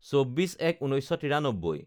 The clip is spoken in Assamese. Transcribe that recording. ২৪/০১/১৯৯৩